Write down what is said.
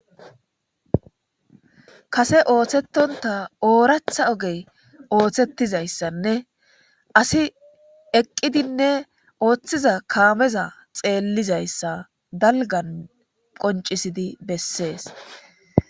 Kase ooththetonta ooratha ogey ooththetizayssanne asi eqqidinne ooththiza kaameza xeellizayssa dalgan qoncisidi bessees